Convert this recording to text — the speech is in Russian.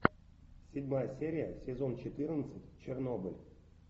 седьмая серия сезон четырнадцать чернобыль